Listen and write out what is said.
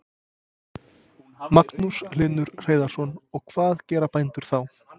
Magnús Hlynur Hreiðarsson: Og hvað gera bændur þá?